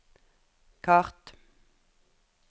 kart